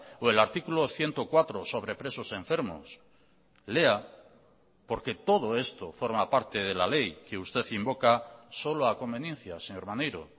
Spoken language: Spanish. o el artículo ciento cuatro sobre presos enfermos lea porque todo esto forma parte de la ley que usted invoca solo a conveniencia señor maneiro